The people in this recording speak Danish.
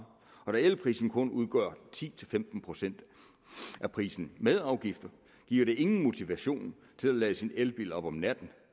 og da elprisen kun udgør ti til femten procent af prisen med afgifter giver det ingen motivation til at lade sin elbil op om natten